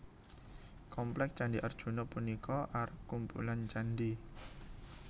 Komplék Candhi Arjuna punika arup kumpulan candhi